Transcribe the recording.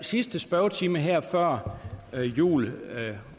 sidste spørgetime her før jul